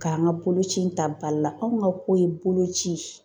K'an ka boloci in ta ba la anw ka ko ye boloci.